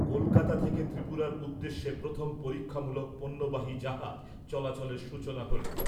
কলকাতা থেকে ত্রিপুরার উদ্দেশ্যে প্রথম পরীক্ষামূলক পণ্যবাহী জাহাজ চলাচলের সূচনা ।